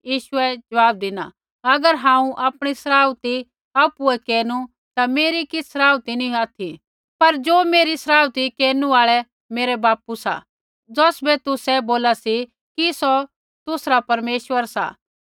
यीशुऐ ज़वाब धिना अगर हांऊँ आपणी सराउथी आपुऐ केरनु ता मेरी किछ़ सराउथी नी ऑथि पर ज़ो मेरी सराउथी केरनु आल़ै मेरा बापू सा ज़ौसबै तुसै बोला सी कि सौ तुसरा परमेश्वर सा